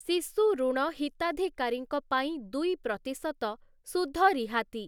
ଶିଶୁଋଣ ହିତାଧିକାରୀଙ୍କ ପାଇଁ ଦୁଇ ପ୍ରତିଶତ ସୁଧ ରିହାତି ।